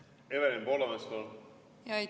Evelin Poolamets, palun!